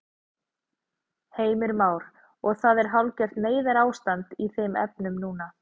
Heimir Már: Og það er hálfgert neyðarástand í þeim efnum núna?